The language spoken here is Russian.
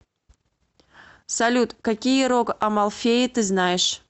салют какие рог амалфеи ты знаешь